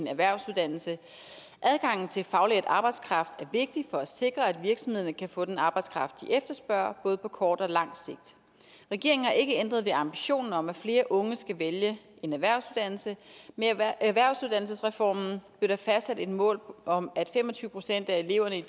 en erhvervsuddannelse adgangen til faglært arbejdskraft er vigtig for at sikre at virksomhederne kan få den arbejdskraft de efterspørger både på kort og langt sigt regeringen har ikke ændret ved ambitionen om at flere unge skal vælge en erhvervsuddannelse med erhvervsuddannelsesreformen blev der fastsat et mål om at fem og tyve procent af eleverne i